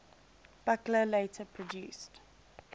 buchla later produced